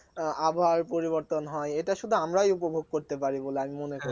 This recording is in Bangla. আবহাওয়ার পরিবর্তন হয় এটা শুধু আমরাই উপভোগ করতে পারি বলে আমি মনে করি